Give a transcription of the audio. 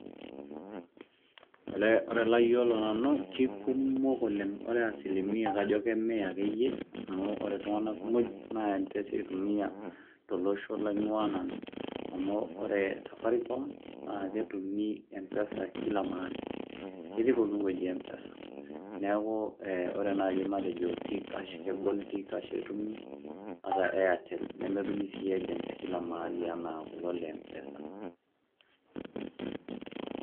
Olee kore layiolo nanu keikumok oleng ore asilimia kajo kemia akeyie amu kore iltung'anak muj naa empesa eitumia tolosho laing'uaa nanu amu kore  safaricom naake etumi empesa kila mahali ketii pooki wueji empesa neaku eh ore nai ematejo tiikash kegol tiikash etumi ata airtel nemetumi sii agents kila mahali anaa kulo le mpesa.